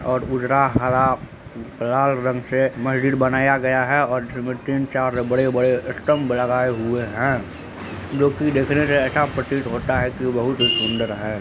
और उजरा हरा लाल रंग से मस्जिद बनाया गया है और जिसमें तीन-चार बड़े-बड़े स्लतब गए हुई है जोकि देखने से ऐसा प्रतीत होता है की बहुत ही सुन्दर है।